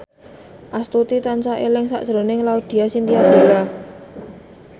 Astuti tansah eling sakjroning Laudya Chintya Bella